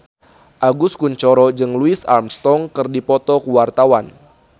Agus Kuncoro jeung Louis Armstrong keur dipoto ku wartawan